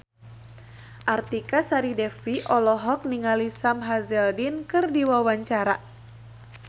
Artika Sari Devi olohok ningali Sam Hazeldine keur diwawancara